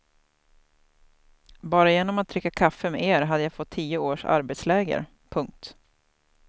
Bara genom att dricka kaffe med er hade jag fått tio års arbetsläger. punkt